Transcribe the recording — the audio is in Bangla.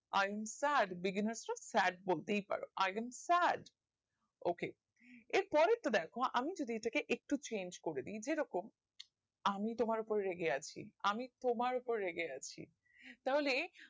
i am sad sad বলতেই পারো i again sad ok এর পরের তা দ্যাখোআমি যদি এটা কে একটু change করে দিয় যেরকম আমি তোমার ওপর রেগে আছি আমি তোমার ওপর রেগে আছি তাহলে